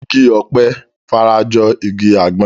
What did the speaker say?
Igi ọ̀pẹ fara jọ igi àgbọn